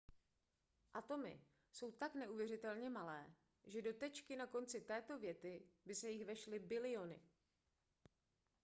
atomy jsou tak neuvěřitelně malé že do tečky na konci této věty by se jich vešly biliony